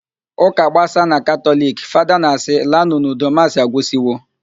Ụka gbasaa na Katọliki, Fada na-asị, "laanụ n'udo, maasị agwụsiwo"